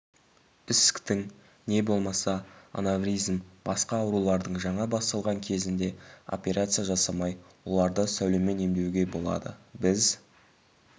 ісіктің не болмаса анавризм басқа аурулардың жаңа басталған кезінде операция жасамай оларды сәулемен емдеуге болады біз